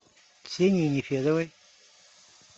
ксении нефедовой